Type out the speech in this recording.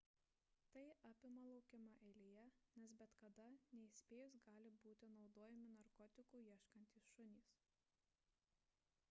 tai apima laukimą eilėje nes bet kada neįspėjus gali būti naudojami narkotikų ieškantys šunys